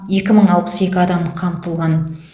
екі мың алпыс екі адам қамтылған